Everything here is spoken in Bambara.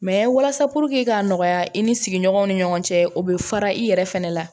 Mɛ walasa k'a nɔgɔya i ni sigiɲɔgɔnw ni ɲɔgɔn cɛ o bɛ fara i yɛrɛ fana la